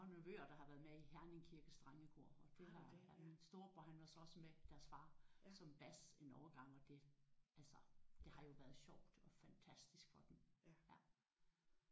Jeg har nogle nevøer der har været med i Herning Kirkes drengekor og det har min storebror han var så også med deres far som bas en overgang og det altså det har jo været sjovt og fantastisk for dem